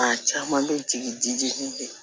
Maa caman bɛ jigin